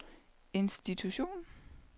institution